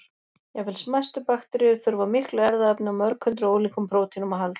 Jafnvel smæstu bakteríur þurfa á miklu erfðaefni og mörg hundruð ólíkum prótínum að halda.